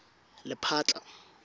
lephatla